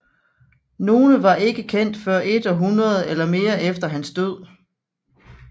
Nogle var ikke kendt før et århundrede eller mere efter hans død